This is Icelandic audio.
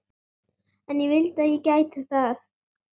En ég vildi að ég gæti það.